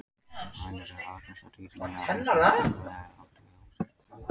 Hænur eru algengasta dýrið í Árnessýslu, alla vega ef átt er við húsdýr.